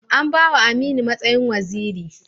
An ba wa Aminu matsayin waziri.